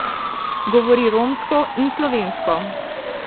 Govori romsko in slovensko.